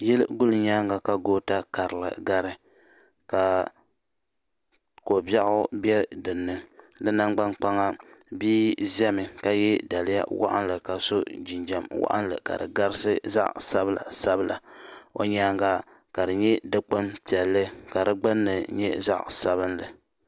yili guli nyɛŋa ka gota gari ka ko bɛgu nɛ dini di nangba kpaŋa nihi zami ka yɛ daliya piɛli ka di gabisi zaɣ' sabinli o nyɛŋa ka di kpɛni pɛntɛ zaɣ' Sabin li